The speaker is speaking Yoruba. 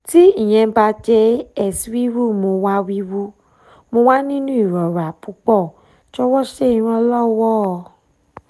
ti iyẹn ba jẹ ess wiwu mo wa wiwu mo wa ninu irora pupọ jọwọ ṣe iranlọwọ